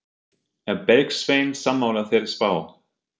Er Bergsveinn sammála þeirri spá?